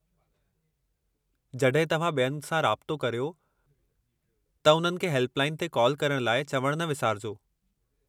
जॾहिं तव्हां ॿियनि सां राब्तो करियो, त उन्हनि खे हेल्प लाइन ते काल करण लाइ चवणु न विसारिजो।